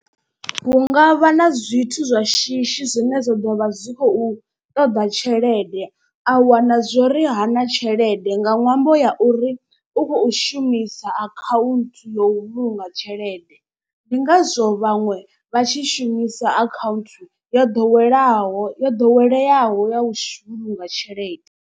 Hu ngavha na zwithu zwa shishi zwine zwa ḓo vha zwi khou ṱoḓa tshelede a wana zwori ha na tshelede nga ṅwambo ya uri u khou shumi sa account ya u vhulunga tshelede. Ndi ngazwo vhaṅwe vha tshi shumisa account yo ḓowelaho yo ḓoweleaho ya u shuma nga tshelede.